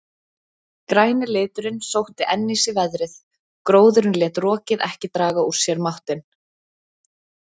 Græni liturinn sótti enn í sig veðrið, gróðurinn lét rokið ekki draga úr sér máttinn.